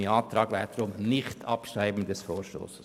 Mein Antrag lautet auf Nichtabschreibung des Vorstosses.